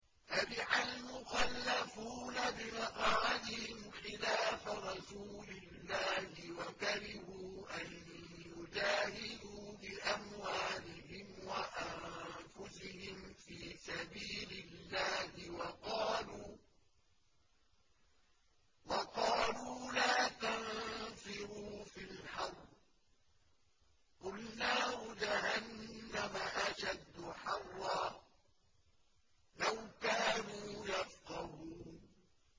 فَرِحَ الْمُخَلَّفُونَ بِمَقْعَدِهِمْ خِلَافَ رَسُولِ اللَّهِ وَكَرِهُوا أَن يُجَاهِدُوا بِأَمْوَالِهِمْ وَأَنفُسِهِمْ فِي سَبِيلِ اللَّهِ وَقَالُوا لَا تَنفِرُوا فِي الْحَرِّ ۗ قُلْ نَارُ جَهَنَّمَ أَشَدُّ حَرًّا ۚ لَّوْ كَانُوا يَفْقَهُونَ